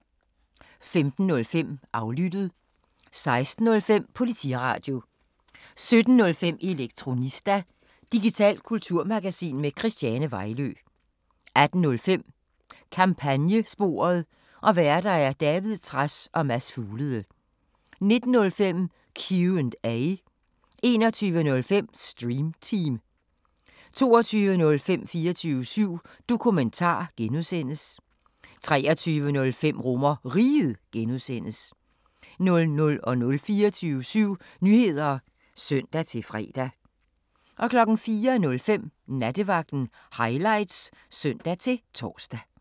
15:05: Aflyttet 16:05: Politiradio 17:05: Elektronista – digitalt kulturmagasin med Christiane Vejlø 18:05: Kampagnesporet: Værter: David Trads og Mads Fuglede 19:05: Q&A 21:05: Stream Team 22:05: 24syv Dokumentar (G) 23:05: RomerRiget (G) 00:00: 24syv Nyheder (søn-fre) 04:05: Nattevagten Highlights (søn-tor)